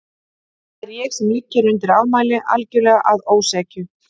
Það er ég sem ligg hér undir ámæli, algjörlega að ósekju.